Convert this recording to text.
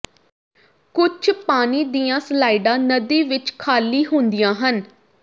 ਕੁਝ ਪਾਣੀ ਦੀਆਂ ਸਲਾਈਡਾਂ ਨਦੀ ਵਿੱਚ ਖਾਲੀ ਹੁੰਦੀਆਂ ਹਨ